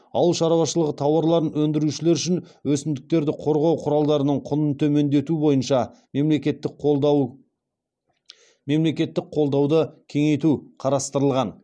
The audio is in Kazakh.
ауыл шаруашылығы тауарларын өндірушілер үшін өсімдіктерді қорғау құралдарының құнын төмендету бойынша мемлекеттік қолдауды кеңейту қарастырылған